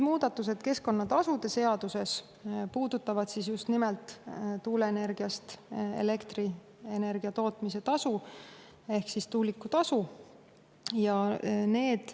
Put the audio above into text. Muudatused keskkonnatasude seaduses puudutavad just nimelt elektrienergia tuuleenergiast tootmise tasu ehk tuulikutasu.